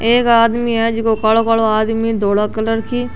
एक आदमी है जिको कालो कालो आदमी है धोला कलर की --